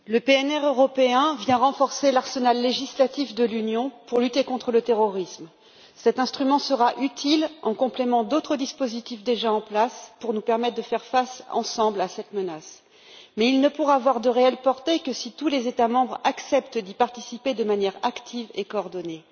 Monsieur le Président, le PNR européen vient renforcer l'arsenal législatif de l'Union pour lutter contre le terrorisme. Cet instrument sera utile en complément d'autres dispositifs déjà en place pour nous permettre de faire face ensemble à cette menace, mais il ne pourra avoir de réelle portée que si tous les États membres acceptent d'y participer de manière active et coordonnée.